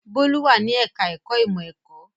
Bólú wà ní ẹ̀ka-ẹ̀kọ́ ìmọ̀-ẹ̀kọ́.